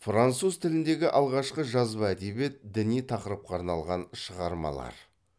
француз тіліндегі алғашқы жазба әдебиет діни тақырыпқа арналған шығармалар